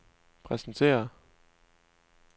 præsenterer